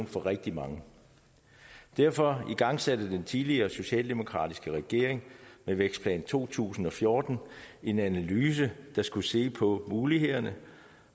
for rigtig mange derfor igangsatte den tidligere socialdemokratiske regering med vækstplan to tusind og fjorten en analyse der skulle se på mulighederne